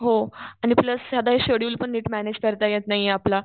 हो पण सगळा शेड्युल पण मॅनेज करता नाहीये आपला.